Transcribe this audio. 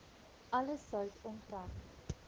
alle sout onttrek